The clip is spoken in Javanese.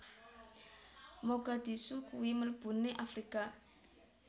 Mogadishu kui mlebune Afrika